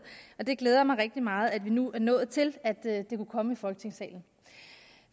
det glæder mig rigtig meget at vi nu er nået til at det kunne komme i folketingssalen